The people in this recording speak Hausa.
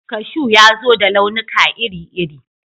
Kashu ya zo da launuka iri-iri